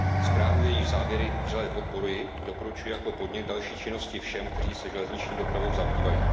Zprávu, jejíž závěry vřele podporuji, doporučuji jako podnět k další činnosti všem, kteří se železniční dopravou zabývají.